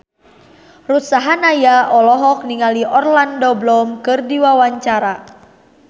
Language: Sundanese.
Ruth Sahanaya olohok ningali Orlando Bloom keur diwawancara